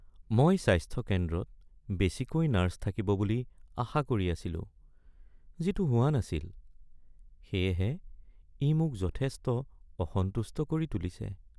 "মই স্বাস্থ্য কেন্দ্ৰত বেছিকৈ নাৰ্ছ থাকিব বুলি আশা কৰি আছিলো যিটো হোৱা নাছিল, সেয়েহে ই মোক যথেষ্ট অসন্তুষ্ট কৰি তুলিছে।"